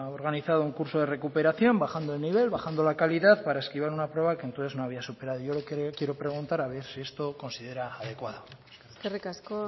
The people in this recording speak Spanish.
organizado un curso de recuperación bajando de nivel bajando la calidad para esquivar una prueba que entonces no habían superado yo lo que le quiero preguntar a ver si esto lo considera adecuado eskerrik asko eskerrik asko